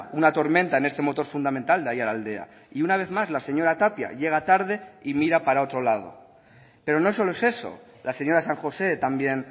una tormenta en este motor fundamental de aiaraldea y una vez más la señora tapia llega tarde y mira para otro lado pero no solo es eso la señora san josé también